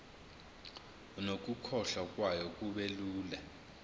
nokukhokhwa kwayo kubelula